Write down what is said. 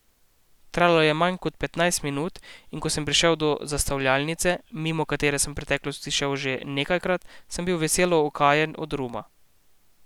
Trajalo je manj kot petnajst minut, in ko sem prišel do zastavljalnice, mimo katere sem v preteklosti šel že nekajkrat, sem bil veselo okajen od ruma.